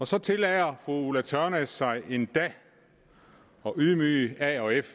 så tillader fru ulla tørnæs sig endda at ydmyge a og f